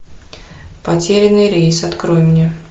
потерянный рейс открой мне